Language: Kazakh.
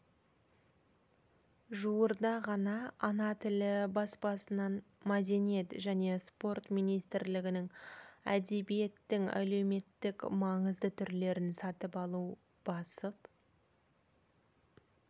жуырда ғана ана тілі баспасынан мәдениет және спорт министрлігінің әдебиеттің әлеуметтік маңызды түрлерін сатып алу басып